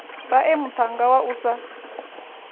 vhae muṱhannga wa u sa